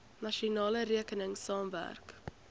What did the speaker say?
nasionale regering saamwerk